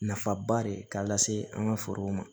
Nafaba de k'a lase an ka forow ma